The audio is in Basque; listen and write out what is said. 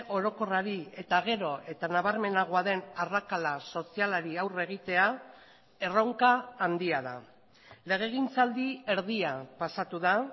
orokorrari eta gero eta nabarmenagoa den arrakala sozialari aurre egitea erronka handia da legegintzaldi erdia pasatu da